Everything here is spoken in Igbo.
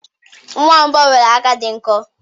Nwamba nwere aka di nko